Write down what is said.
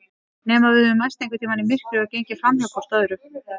Nema við höfum mæst einhvern tíma í myrkri og gengið framhjá hvort öðru.